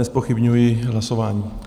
Nezpochybňuji hlasování.